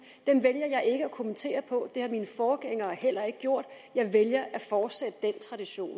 dem vælger jeg ikke at kommentere det har mine forgængere heller ikke gjort jeg vælger at fortsætte den tradition